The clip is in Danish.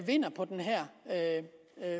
vinder på den her